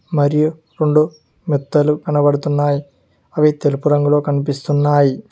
మరియు రొండు మెత్తలు కనబడుతున్నాయి అవి తెలుపు రంగులో కనిపిస్తున్నాయి.